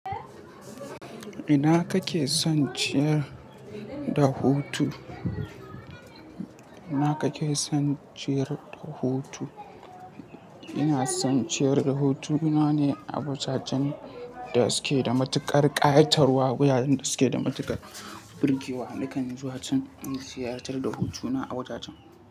Ina kake son ciyar da hutu? Ina son ciyar da hutu. Ina ne a wajajen da suke da matuƙar ƙayatarwa, wuraren da suke da matuƙar birgewa. Nakan zuwa can in ziyartar da hutuna a wajajen.